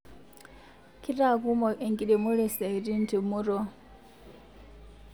kitakumok enkiremore siaitin te murua